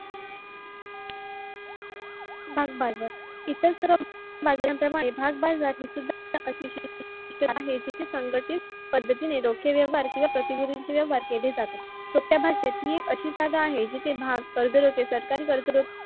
भागबाजार इतरस्त्र बाजाराप्रमाणे भागबाजार हि सुधा जीते संगठीत पद्धती ने व्यवहार किवा प्रतिनिधींशी व्यवहार केले जातात. सुप्या भाषेत हि एक अशी जागा आहे जिथे भाग